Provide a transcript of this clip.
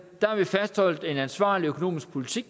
har vi fastholdt en ansvarlig økonomisk politik